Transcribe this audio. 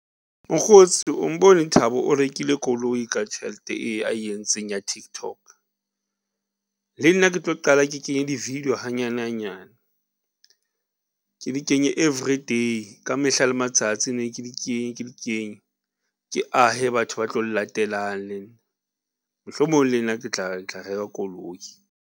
Mokgotsi o mbone Thabo o rekile koloi ka tjhelete e ae entseng ya TikTok. Le nna ke tlo qala ke kenye di video hanyane hanyane ke di kenye every day. Ka mehla le matsatsi ne ke di kenye ke di kenye ke ahe batho ba tlo llatelang le nna. Mohlomong le nna ke tla reka koloi.